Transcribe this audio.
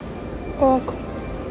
ок